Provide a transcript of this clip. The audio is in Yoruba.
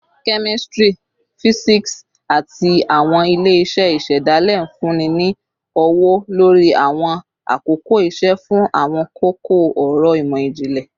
Kemistri, fisiksi, ati awọn ile-iṣẹ isedale nfunni ni ọwọ-lori awọn akoko iṣe fun awọn koko-ọrọ imọ-jinlẹ